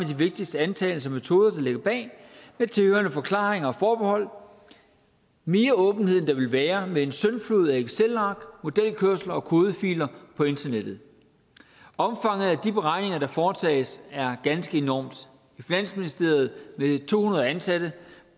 de vigtigste antagelser og metoder der ligger bag med tilhørende forklaringer og forbehold mere åbenhed end der ville være med en syndflod af excelark modelkørsler og kodefiler på internettet omfanget af de beregninger der foretages er ganske enormt i finansministeriet vil to hundrede ansatte